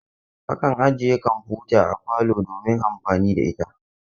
Akan ajiye kamfuta a parlor domin amfani da ita.